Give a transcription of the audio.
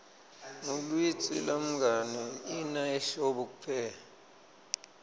ngluitsi lwngani ina ehlobo kuphela